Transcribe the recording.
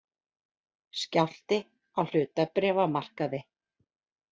Skjálfti á hlutabréfamarkaði